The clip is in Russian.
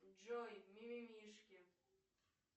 джой ми ми мишки